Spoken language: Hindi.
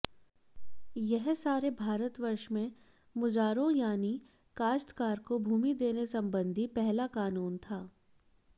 यह सारे भारतवर्ष में मुजारों यानी काश्तकार को भूमि देने संबंधी पहला कानून था